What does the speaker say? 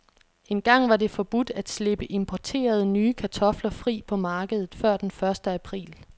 Engang var det forbudt at slippe importerede, nye kartofler fri på markedet før den første april.